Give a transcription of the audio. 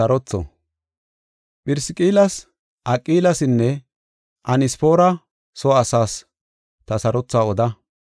Phirisqillas, Aqilasinne Anesfoora soo asaas ta sarothuwa oda.